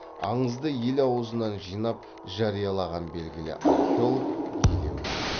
аңызды ел аузынан жинап жариялаған белгілі археолог елеуов